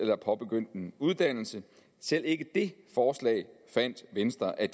har påbegyndt en uddannelse selv ikke det forslag fandt venstre at